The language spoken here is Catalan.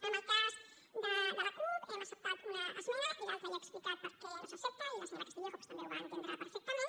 en el cas de la cup hem acceptat una esmena i l’altra ja he explicat per què no s’accepta i la senyora castillejo doncs també ho va entendre perfectament